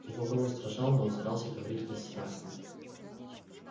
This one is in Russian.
его голос дрожал но он старался говорить бесстрастно